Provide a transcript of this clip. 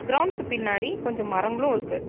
க்ரவுண்டுக்கு பின்னாடி கொஞ்சம் மரங்களும் இருக்கு.